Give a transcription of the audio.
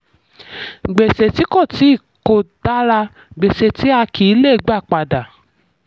gbèsè tí kò tí kò dára: gbèsè tí a kì í lè gba padà.